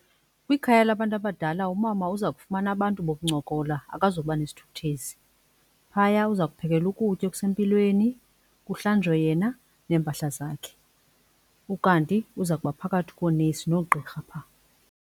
Kwikhaya labantu abadala umama uza kufumana abantu bokuncokola, akazuba nesithukuthezi. Phaya uzakuphekelwa ukutya okusempilweni kuhlanjwe yena neempahla zakhe ukanti uza kuba phakathi koonesi noogqirha phaa.